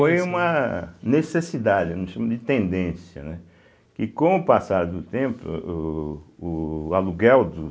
Foi uma necessidade, eu não chamo de tendência, né, que com o passar do tempo, o o aluguel dos